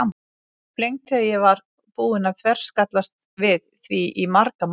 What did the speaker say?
Ég var flengd þegar ég var búin að þverskallast við því í marga mánuði.